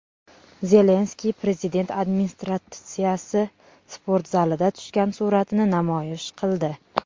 Zelenskiy Prezident administratsiyasi sportzalida tushgan suratini namoyish qildi.